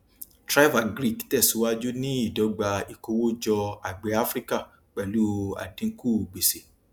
thriveagric tẹsíwájú ní ìdọgba ìkówójọ àgbẹ áfrica pẹlú àdínkù gbèsè